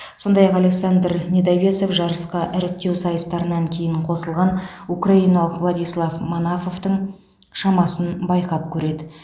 сондай ақ александр недовесов жарысқа іріктеу сайыстарынан кейін қосылған украиналық владислав манафовтың шамасын байқап көреді